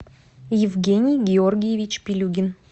евгений георгиевич пилюгин